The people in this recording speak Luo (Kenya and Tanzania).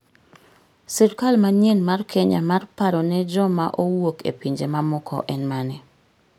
Sirkal manyien mar Kenya mar paro ne joma owuok e pinje mamoko en mane